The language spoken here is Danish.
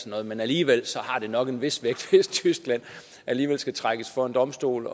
noget men alligevel har det nok en vis vægt hvis tyskland skal trækkes for en domstol